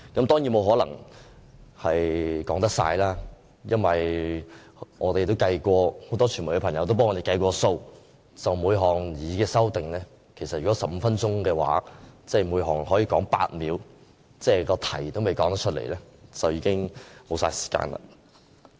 當然，我沒可能說完，因為我們和很多傳媒朋友也計算過，如果只有15分鐘，我們只可就每項擬議修訂說8秒，議題仍未說完便已經沒有時間了。